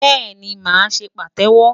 Bẹ́ẹ̀ni, màá ṣe pàtẹ́wọ́.